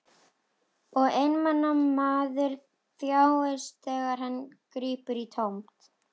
Og einmana maður þjáist þegar hann grípur í tómt.